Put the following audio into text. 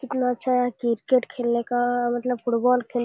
कितना अच्छा है क्रिकेट खेलने का मतलब फुटबॉल खेलने --